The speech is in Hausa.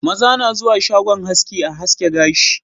Maza na zuwa shagon haski a haske gashi